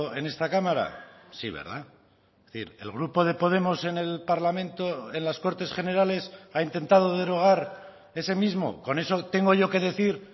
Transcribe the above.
en esta cámara sí verdad es decir el grupo de podemos en el parlamento en las cortes generales ha intentado derogar ese mismo con eso tengo yo que decir